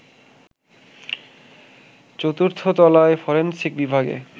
চতুর্থ তলায় ফরেনসিক বিভাগে